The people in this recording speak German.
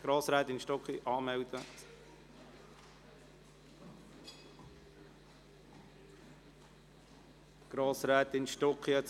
Grossrätin Stucki, melden Sie sich bitte bei der Sprechanlage an.